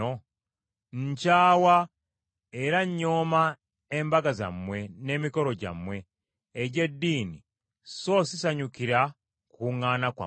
Nkyawa, era nnyooma embaga zammwe n’emikolo gyammwe egy’eddiini so sisanyukira kukuŋŋaana kwammwe.